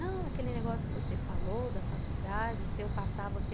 Não, aquele negócio que você falou da faculdade, se eu passar, você...